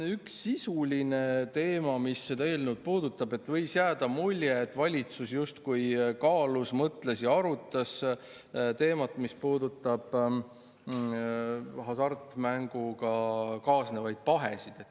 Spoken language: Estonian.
Üks sisuline teema, mis seda eelnõu puudutab: võis jääda mulje, et valitsus justkui kaalus, mõtles ja arutas teemat, mis puudutab hasartmänguga kaasnevaid pahesid.